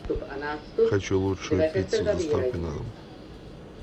хочу лучшую пиццу с доставкой на дом